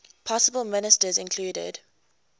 possible ministers included